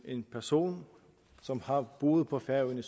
en person som har boet på færøerne